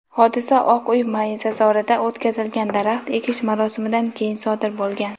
hodisa Oq uy maysazorida o‘tkazilgan daraxt ekish marosimidan keyin sodir bo‘lgan.